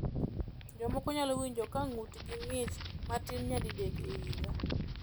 Jomoko nyalo winjo ka ng’utgi ng’ich matin nyadidek e higa.